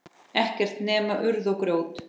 Ekkert nema urð og grjót.